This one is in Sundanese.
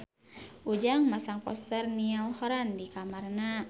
Ujang masang poster Niall Horran di kamarna